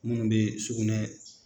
Minnu bɛ sugunɛ